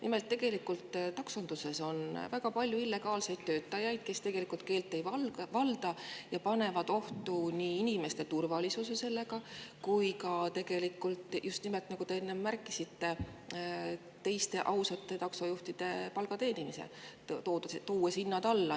Nimelt, taksonduses on väga palju illegaalseid töötajaid, kes keelt ei valda ja panevad sellega ohtu nii inimeste turvalisuse kui ka just nimelt, nagu te enne märkisite, teiste, ausate taksojuhtide palga, tuues hinnad alla.